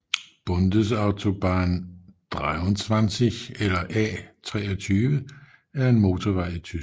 Bundesautobahn 23 eller A 23 er en motorvej i Tyskland